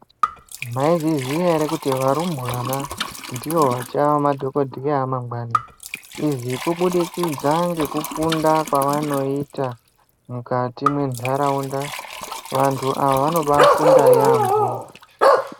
Maizviziva here kuti varumbwana ndivo vachava madhokodheya amangwani izvi kubudikidza ngekufunda kwavanoita mukati mendaraunda vantu ava vanobafunda yambo.